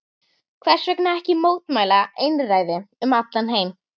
Hversvegna ekki mótmæla einræði um allan heim?